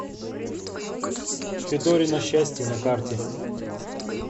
федорино счастье на карте